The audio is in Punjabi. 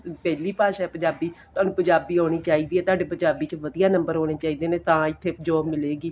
daily ਭਾਸ਼ਾ ਪੰਜਾਬੀ ਤੁਹਾਨੂੰ ਪੰਜਾਬੀ ਆਉਣੀ ਚਾਹੀਦੀ ਏ ਤੁਹਾਡੀ ਪੰਜਾਬੀ ਚ ਵਧੀਆ number ਆਉਣੇ ਹੋਣੇ ਚਾਹੀਦੇ ਨੇ ਤਾਂ ਹੀ ਇੱਥੇ ਵਧੀਆ job ਮਿਲੇਗੀ